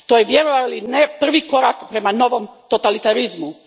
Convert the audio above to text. To je, vjerovali ili ne, prvi korak prema novom totalitarizmu.